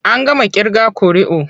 An gama ƙirga ƙuri'u.